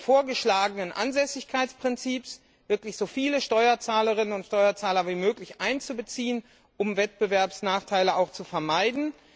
des vorgeschlagenen Ansässigkeitsprinzips so viele Steuerzahlerinnen und Steuerzahler wie möglich einzubeziehen, um Wettbewerbsnachteile zu vermeiden?